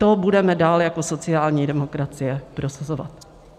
To budeme dále jako sociální demokracie prosazovat.